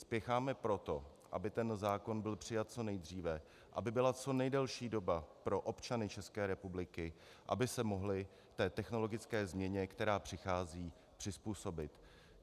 Spěcháme proto, aby ten zákon byl přijat co nejdříve, aby byla co nejdelší doba pro občany České republiky, aby se mohli té technologické změně, která přichází, přizpůsobit.